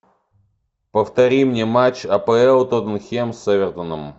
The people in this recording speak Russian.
повтори мне матч апл тоттенхэм с эвертоном